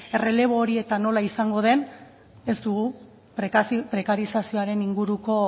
errelebo hori eta nola izango den ez dugu prekarizazioaren inguruko